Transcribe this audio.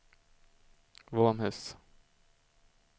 Våmhus